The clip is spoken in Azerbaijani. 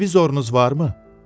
Televizorunuz varmı?